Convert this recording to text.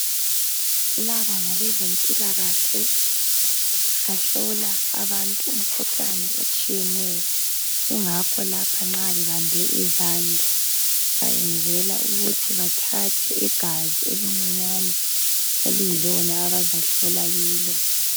Laba ngabezempilakahle bahlola abantu imikhuhlane etshiyeneyo kungakho lapha nxa bebambe izandla bayenzela ukuthi bathathe igazi elincinyane okuyilo igazi abazahlola kilo